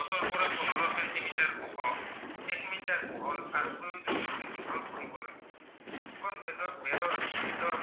অ প্ৰয়োজন মতে দীঘল কৰিব লাগে দুখন বেদত বেৰৰ বেদৰ